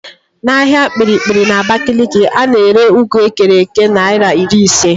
N'ahịa Kpiri-kpiri n'Abakaliki, a na-ere ụgụ ekere èké naịra iri ise